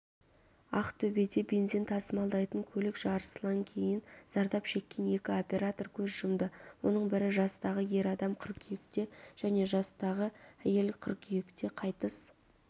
ақтөбедебензин тасымалдайтын көлікжарылысынан кейін зардап шеккен екі оператор көз жұмды оның бірі жастағы ер адам қыркүйекте және жастағы әйел қыркүйекте қайтыс